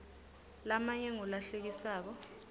lamanye ngula hlekisako